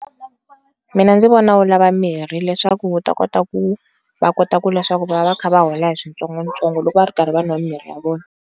Mina ndzi vona wu lava mirhi leswaku wu ta kota ku, va kota ku leswaku va va kha va hola hi switsongotsongo loko va ri karhi va nwa mimirhi ya vona.